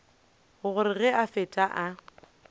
gore ge a fetša o